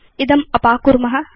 इदम् अपाकुर्म